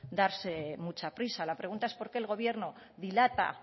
darse mucha prisa la pregunta es por qué el gobierno dilata